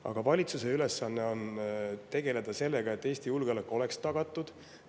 Aga valitsuse ülesanne on tegeleda sellega, et Eesti julgeolek oleks tagatud.